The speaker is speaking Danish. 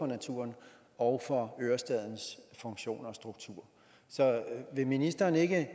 naturen og for ørestadens funktion og struktur så vil ministeren ikke